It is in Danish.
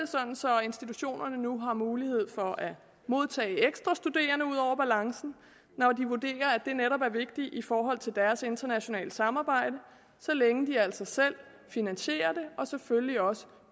institutionerne nu har mulighed for at modtage ekstra studerende ud over balancen når de vurderer at det netop er vigtigt i forhold til deres internationale samarbejde og så længe de altså selv finansierer det og selvfølgelig også